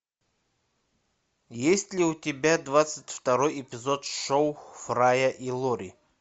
есть ли у тебя двадцать второй эпизод шоу фрая и лори